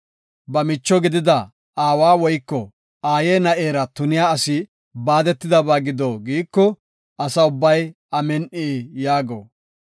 “Ba micho gidida aawa woyko aaye na7era tuniya asi baadetidaysa gido” giiko, Asa ubbay, “Amin7i” yaago.